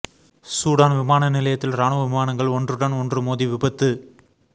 Sudan விமான நிலையத்தில் இராணுவ விமானங்கள் ஒன்றுடன் ஒன்று மோதி விபத்து